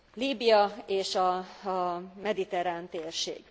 Líbia és a mediterrán térség.